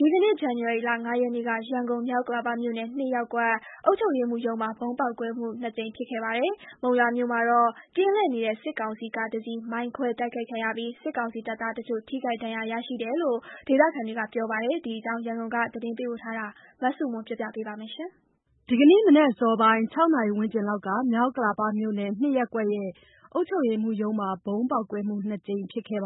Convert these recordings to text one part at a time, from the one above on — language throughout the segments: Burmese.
ဒီကနေ့ ဇန်နဝါရီလ ၅ ရက်နေ့က ရန်ကုန် မြောက်ဥက္ကလာပမြို့နယ် ၂ ရပ်ကွက် အုပ်ချုပ်ရေးမှုးရုံးမှာ ဗုံးပေါက်ကွဲမှု ၂ ကြိမ်ဖြစ်ခဲ့ပါတယ်။ မုံရွာမြို့မှာတော့ ကင်းလှည့်နေတဲ့ စစ်ကောင်စီကားတစီး မိုင်းခွဲတိုက်ခိုက်ခံရပြီး စစ်ကောင်စီတပ်သားတချို့ ထိခိုက်ဒဏ်ရာရမှုရှိတယ်လို့ ဒေသခံတွေက ပြောပါတယ်။ ဒီအကြောင်း ရန်ကုန်သတင်းပေးပို့ထားတာကို မဆုမွန်က တင်ပြပေးထားပါတယ်။ ဒီကနေ့ မနက် အစောပိုင်း ၆ နာရီဝန်းကျင်လောက်က မြောက်ဥက္ကလာပမြို့နယ် ၂ ရပ်ကွက် အုပ်ချုပ်ရေးမှူးရုံးမှာ ဗုံးပေါက်ကွဲမှု နှစ်ကြိမ်ဖြစ်ခဲ့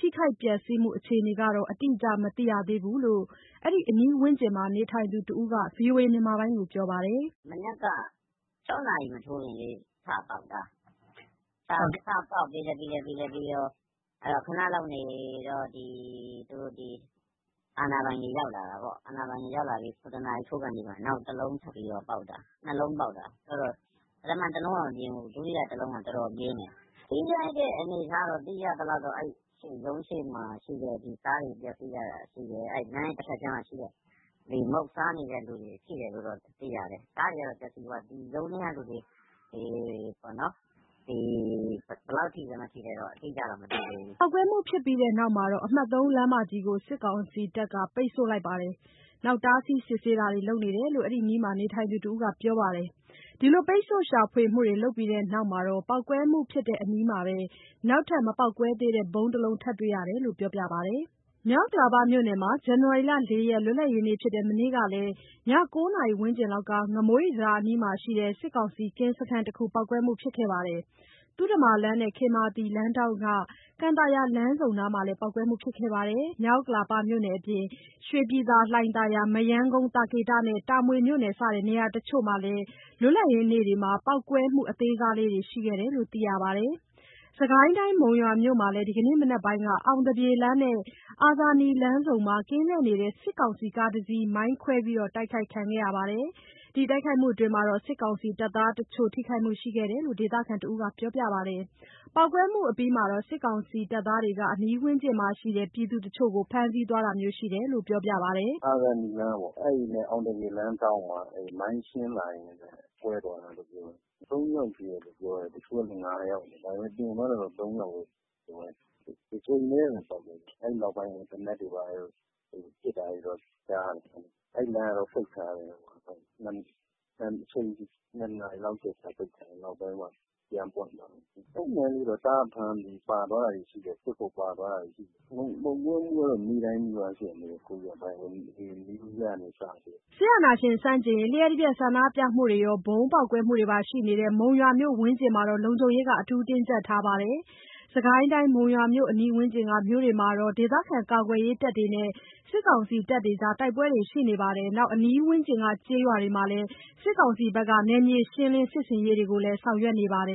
ပြီး ထိခိုက်ပျက်စီးမှုအခြေအနေကတော့ အတိအကျ မသိရသေးဘူးလို့ အဲ့ဒီအနီးဝန်းကျင်မှာ နေထိုင်သူတဦးက VOA ကို ပြောပါတယ်။ “မနက်က ၆ နာရီမထိုးခင်လေး ထပေါက်တာ။ ပေါက်ပြီးလို့ ခဏလောက်နေတော့ ဒီအာဏာပိုင်တွေ ရောက်လာတာပေါ့။ သူတို့ရောက်လာပြီးတော့ ခဏနေ ၇ နာရီလောက်ကျရင် နောက်တလုံး ထပ်ပေါက်တယ်။ ၂ လုံးပေါက် တာ၊ ပထမတလုံးက သိပ်မပြင်းဘူး။ ဒုတိယတလုံးက တော်တော်ပြင်းတယ်။ ထိခိုက်တဲ့အနေအထား သိရသလောက်ကတော့ ရုံးရှေ့မှာ ကားတွေပျက်စီးတာရှိတယ်။ ရုံးရဲ့တဘက်ခြမ်းမှာရှိတဲ့ မုန့်စားနေတဲ့သူတွေ၊ အဲဒါတွေ ရှိတယ်လို့တော့ သိရတယ်။ ကားတွေကတော့ ပျက်စီးသွားတယ်။ ရုံးထဲကသူတွေ ဘယ်လောက်ထိလဲ မထိလဲတော့ အတိအကျတော့ မသိသေးဘူး။” ပေါက်ကွဲမှု ဖြစ်ပြီးတဲ့နောက် အမှတ် ၃ လမ်းမကြီးကို စစ်ကောင်စီတပ်တွေက ပိတ်ဆို့လိုက်ပြီး တားဆီးစစ်ဆေးတာတွေလုပ်တယ်လို့ အဲ့ဒီအနီးမှာ နေထိုင်သူတဦးက ပြောပါတယ်။ ဒီလို ပိတ်ဆို့ ရှာဖွေပြီးတဲ့နောက် ပေါက်ကွဲမှု ဖြစ်တဲ့အနီးမှာပဲ နောက်ထပ် မပေါက်ကွဲသေးတဲ့ ဗုံးတလုံး ထပ်တွေရတယ်လို့ ပြောပြပါတယ်။ မြောက်ဥက္ကလာပမြို့နယ်မှာ ဇန်နဝါရီလ ၄ ရက် လွတ်လပ်ရေးနေ့ဖြစ်တဲ့ မနေ့ကလည်း ည ၉ နာရီဝန်းကျင်လောက်က ငမိုးရိပ်တံတားအနီးမှာရှိတဲ့ စစ်ကောင်စီကင်းစခန်းတခုမှာ ပေါက်ကွဲမှုဖြစ်ခဲ့သလို သုဓမ္မာလမ်းနဲ့ ခေမာသီ လမ်းထောင့်က ကန်သာယာလမ်းဆုံအနီးမှာလည်း ပေါက်ကွဲမှု ဖြစ်ခဲ့ပါတယ်။ မြောက်ဥက္ကလာပအပြင် ရွှေပြည် သာ၊ လှိုင်သာယာ၊ မရမ်းကုန်း၊ သာကေတ၊ တာမွေ စတဲ့ နေရာတချို့မှာလည်း လွတ်လပ်ရေးနေ့မှာ ပေါက်ကွဲမှုအသေးစားတွေရှိခဲ့တယ်လို့ သိရပါတယ်။ စစ်ကိုင်းတိုင်း၊ မုံရွာမြို့မှာလည်း ဒီကနေ့မနက်ပိုင်းက အောင်သပြေလမ်းနဲ့ အာဇာနည်လမ်းဆုံမှာ ကင်းလှည့်နေတဲ့ စစ်ကောင်စီကားတစီး မိုင်းခွဲတိုက်ခိုက်ခံရပြီး စစ်ကောင်စီတပ်သားတချို့ ထိခိုက်မှုတွေရှိခဲ့တယ်လို့ ဒေသခံတဦးက ပြောပါတယ်။ ပေါက်ကွဲမှုအပြီးမှာ စစ်ကောင်စီတပ်သားတွေက အနီးဝန်းကျင်မှာရှိတဲ့ ပြည်သူတချို့ကို ဖမ်းဆီးသွားတာမျိုး ရှိတယ်လို့ ပြောပြပါတယ်။ “အာဇာနည်လမ်းပေါ့၊ အဲ့ဒီနဲ့ အောင်သပြေလမ်းထောင့်မှာ မိုင်းရှင်းလာရင်းနဲ့ ကွဲတာလို့ပြောတယ်။ သုံးယောက် ထိတယ်လို့ ပြောကြတယ်။ တချို့ကလည်း ၅ ယောက်ထိတယ်ပြောတယ်။ ဒါပေမယ့် တင်သွားတာတော့ ၃ ယောက်ပဲ။ တကြိမ်ပဲ ပေါက်တယ်။ အဲ့နောက်ပိုင်း သေနတ်တွေ ဘာတွေ ပစ်တာတော့ ကြားရတယ်။ အဲ့လမ်းက ပိတ်ခံရတယ်။ ၂ နာရီလောက် ကြာပြီးမှ ပြန်ပွင့်သွားတယ်။ အဲ့နားလေးက တားဖမ်းပြီး ပါသွားတာတွေ ရှိတယ်။ စစ်ဖို့ဆိုပြီး ပါသွားတာတွေ ရှိတယ်။ မုံရွာမှာ ပေါက်ကွဲမှုကတော့ နေ့တိုင်းနီးပါးရှိတယ်၊ ဒီ New Year ကနေ စပြီးတော့။” စစ်အာဏာရှင်ဆန့်ကျင်ရေး လျှပ်တပြတ်ဆန္ဒပြမှုတွေရော ဗုံးကွဲမှုတွေပါ ရှိနေတဲ့ မုံရွာမြို့ဝန်းကျင်မှာတော့ လုံခြုံရေးတွေ အထူးတင်းကြပ်ထားပါတယ်။ စစ်ကိုင်းတိုင်း မုံရွာမြို့အနီးဝန်းကျင်က မြို့တွေမှာ ဒေသခံကာကွယ်ရေးတပ်တွေနဲ့ စစ်ကောင်စီတပ်တွေ တိုက်ပွဲတွေရှိနေသလို အနီးဝန်းကျင်ကျေးရွာတွေမှာ စစ်ကောင်စီက နယ်မြေရှင်းလင်းစစ်ဆင်ရေးတွေလည်း ဆောင်ရွက်နေပါတယ်